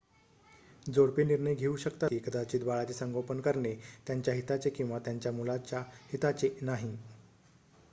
जोडपे निर्णय घेऊ शकतात की कदाचित बाळाचे संगोपन करणे त्यांच्या हिताचे किंवा त्यांच्या मुलाच्या हिताचे नाही